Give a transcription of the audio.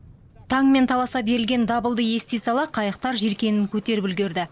таңмен таласа берілген дабылды ести сала қайықтар желкенін көтеріп үлгерді